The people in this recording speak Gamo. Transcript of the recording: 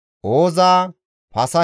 Nexiha, Haxifa.